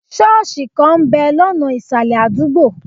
Ṣọ́ọ̀sì kan ń bẹ̀ lọ́nà ìsàlẹ̀ adugbo.